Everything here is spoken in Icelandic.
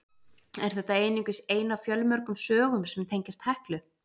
Er þetta einungis ein af fjölmörgum sögum sem tengjast Heklu.